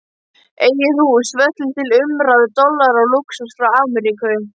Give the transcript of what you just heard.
Eigið hús, verslun til umráða, dollara og lúxus frá Ameríku.